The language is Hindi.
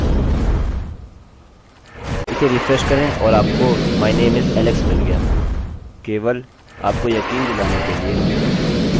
केवल आपको यकीन दिलाने के लिए कि मुझे कोई शंका नहीं है यदि मैं इसे एक कोडcode से बदलूँ जिसका निष्पादन किया जा रहा था यह इस प्रकार दिखेगा